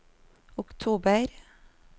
oktober